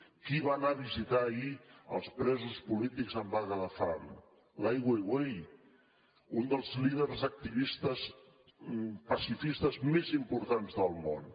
qui va anar a visitar ahir els presos polítics en vaga de fam l’ai weiwei un dels líders activistes pacifistes més importants del món